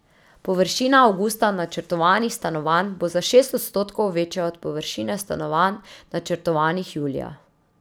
Površina avgusta načrtovanih stanovanj bo za šest odstotkov večja od površine stanovanj, načrtovanih julija.